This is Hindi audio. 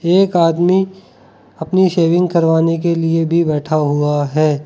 एक आदमी अपनी शेविंग करवाने के लिए भी बैठा हुआ है।